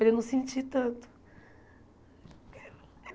Para ele não sentir tanto.